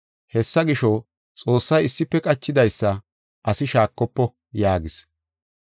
Hessa gisho, Xoossay issife qachidaysa asi shaakofo” yaagis.